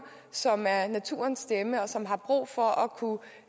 som er naturens stemme og som har brug for at kunne